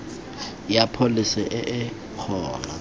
ya pholesi e e gona